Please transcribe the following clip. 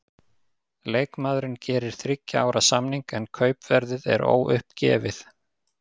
Leikmaðurinn gerir þriggja ára samning, en kaupverðið er óuppgefið.